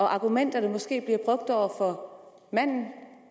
argument der måske bliver brugt over for manden